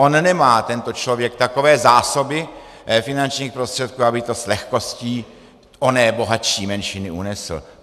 On nemá tento člověk takové zásoby finančních prostředků, aby to s lehkostí oné bohatší menšiny unesl.